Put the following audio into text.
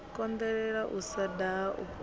konḓelela u sa daha u